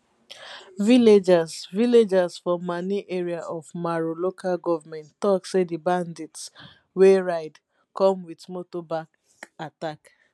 villagers villagers for mani area of maru local goment tok say di bandits wey ride come wit motorbike attack